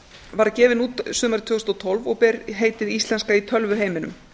var gefin út sumarið tvö þúsund og tólf og ber heitið íslenska í tölvuheiminum